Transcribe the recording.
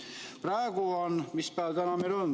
" Praegu on meil mis päev?